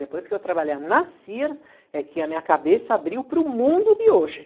Depois que eu trabalhei na Sears, é que a minha cabeça abriu para o mundo de hoje.